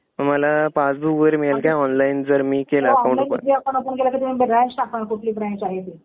मला पासबुक वगैरे मिळेल का. ऑनलाईन जर मी केलं अकाउंट ओपन.